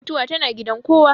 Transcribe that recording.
Mutuwa tana gidan kowa.